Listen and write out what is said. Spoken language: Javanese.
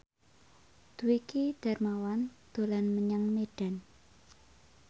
Dwiki Darmawan dolan menyang Medan